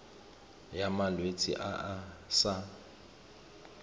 ya malwetse a a sa